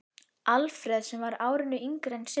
Alfreð sem var árinu yngri en Sibbi.